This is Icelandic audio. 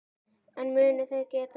En munu þeir gera það?